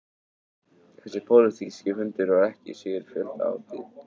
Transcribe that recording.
Þessi pólitíski fundur var ekki síður fjöldahátíð